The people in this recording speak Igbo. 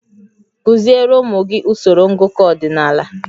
Kụziere ụmụ gị usoro ngụkọ ọdịnala